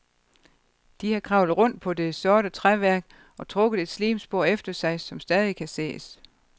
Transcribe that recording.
De har kravlet rundt på det sorte træværk og trukket et slimspor efter sig, som stadig kan ses.